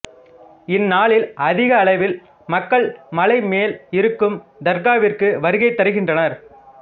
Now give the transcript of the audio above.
இந்நாளில் அதிக அளவில் மக்கள் மலை மேல் இருக்கும் தர்காவிற்கு வருகை தருகின்றனர்